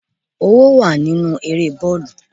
Owó wà nínú eré bọ́ọ̀lù.